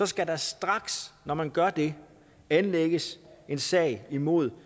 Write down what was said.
skal der straks når man gør det anlægges sag mod